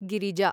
Girija